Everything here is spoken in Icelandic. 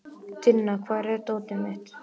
Tinna, hvar er dótið mitt?